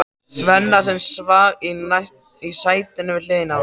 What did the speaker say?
Svenna, sem svaf í sætinu við hliðina á honum.